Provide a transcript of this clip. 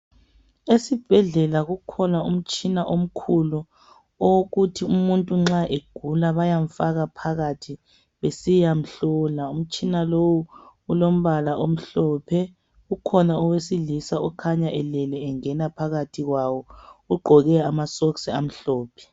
Esibhedlela kukhona umtshina omkhulu, owokuthi umuntu nxa egula bayamfaka phakathi. Besiyamhlola. Umtshina lowu, ulombala omhlophe. Kukhona. owesilisa, ongena phakathi kwawo. Ugqoke amasokisi amhlophe.